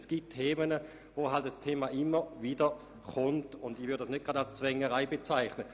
Es gibt nun einmal Themen, die immer wieder eingebracht werden, und ich würde das nicht gleich als Zwängerei bezeichnen.